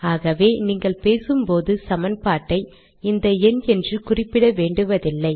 ஆகவே நீங்கள் பேசும்போது சமன்பாட்டை இந்த எண் என்று குறிப்பிட வேண்டுவதில்லை